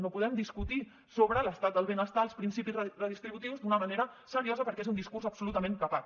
no podem discutir sobre l’estat del benestar els principis redistributius d’una manera seriosa perquè és un discurs absolutament capat